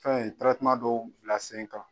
Fɛn in dɔn bila senkan.